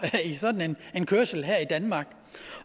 i sådan en kørsel her i danmark